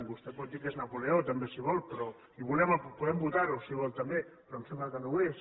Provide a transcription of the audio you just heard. vostè pot dir que és napoleó també si vol i podem votar ho si vol també però em sembla que no ho és